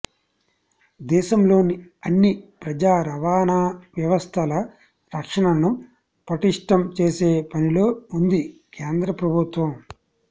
దేశంలోని అన్ని ప్రజా రవాణా వ్యవస్థల రక్షణను పటిష్టం చేసే పనిలో ఉంది కేంద్ర ప్రభుత్వం